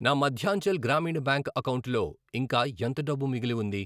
నా మధ్యాంచల్ గ్రామీణ బ్యాంక్ అకౌంటులో ఇంకా ఎంత డబ్బు మిగిలి ఉంది?